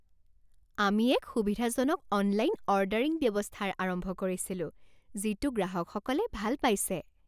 আমি এক সুবিধাজনক অনলাইন অৰ্ডাৰিং ব্যৱস্থাৰ আৰম্ভ কৰিছিলো যিটো গ্ৰাহকসকলে ভাল পাইছে।